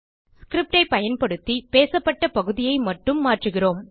script ஐ பயன்படுத்தி பேசப்பட்ட பகுதியை மட்டும் மாற்றுகிறோம்